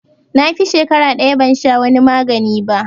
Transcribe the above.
Na fi shakara ɗaya ban sha wani magani ba